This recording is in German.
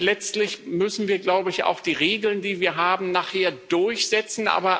Letztlich müssen wir, glaube ich, auch die Regeln, die wir haben, nachher durchsetzen.